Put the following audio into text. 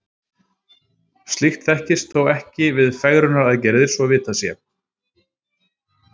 Slíkt þekkist þó ekki við fegrunaraðgerðir, svo vitað sé.